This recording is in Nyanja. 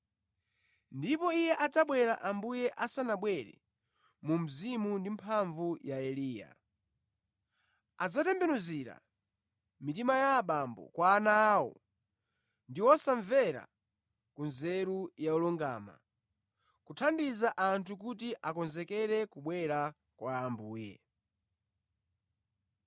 Ndipo iye adzabwera Ambuye asanabwere mu mzimu ndi mphamvu ya Eliya. Adzatembenuzira mitima ya abambo kwa ana awo ndi osamvera ku nzeru ya olungama, kuthandiza anthu kuti akonzekere kubwera kwa Ambuye.”